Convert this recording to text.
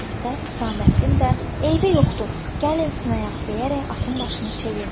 dedikdə, Hüsamməddin də "Eybi yoxdur, gəlin sınayaq" deyərək atın başını çevirdi.